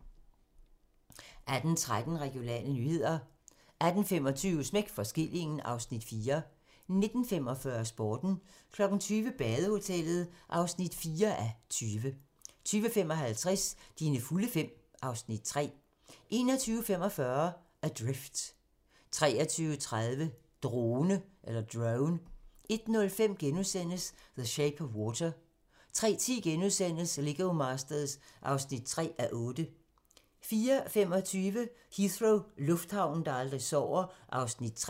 18:13: Regionale nyheder 18:25: Smæk for skillingen (Afs. 4) 19:45: Sporten 20:00: Badehotellet (4:20) 20:55: Dine fulde fem (Afs. 3) 21:45: Adrift 23:30: Drone 01:05: The Shape of Water * 03:10: Lego Masters (3:8)* 04:25: Heathrow - lufthavnen, der aldrig sover (Afs. 3)